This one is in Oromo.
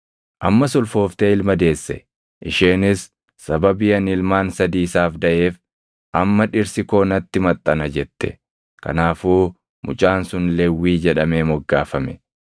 Ammas ulfooftee ilma deesse; isheenis, “Sababii ani ilmaan sadii isaaf daʼeef amma dhirsi koo natti maxxana” jette; kanaafuu mucaan sun Lewwii jedhamee moggaafame.